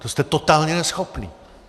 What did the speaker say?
To jste totálně neschopní.